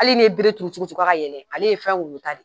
Hali ni ye bere turu turu ka kayɛlɛ ale ye fɛn woyotale ye.